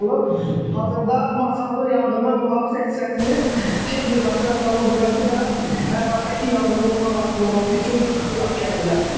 Hazırda Masallı Yanğının Mühafizə hissəsinin texnikası və canlı qüvvəsi də ərazidəki yanğını lokallaşdırılması üçün bura gəliblər.